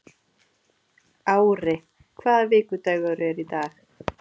Ári, hvaða vikudagur er í dag?